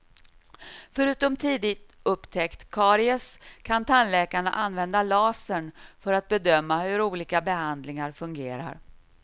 Förutom tidig upptäckt av karies kan tandläkarna använda lasern för att bedöma hur olika behandlingar fungerar.